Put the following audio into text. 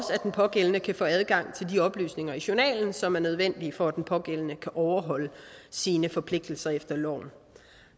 at den pågældende kan få adgang til de oplysninger i journalen som er nødvendige for at den pågældende kan overholde sine forpligtelser efter loven